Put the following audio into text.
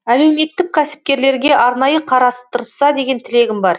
әлеуметтік кәсіпкерлерге арнайы қарастырса деген тілегім бар